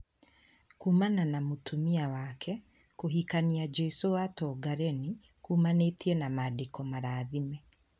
Kuumana na mũtumia wake, kũhikania jesũ wa Tongareni kumanite na mandĩko marathime.